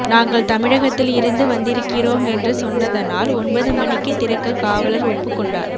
நாங்கள் தமிழகத்தில் இருந்து வந்திருக்கிறோம் என்று சொன்னதனால் ஒன்பது மணிக்கே திறக்க காவலர் ஒப்புக்கொண்டார்